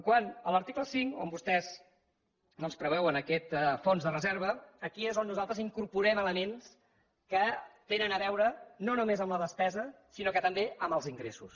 quant a l’article cinc on vostès doncs preveuen aquest fons de reserva aquí és on nosaltres incorporem elements que tenen a veure no només amb la despesa sinó també amb els ingressos